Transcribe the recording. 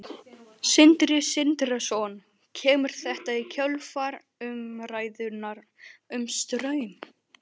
Sindri Sindrason: Kemur þetta í kjölfar umræðunnar um Straum?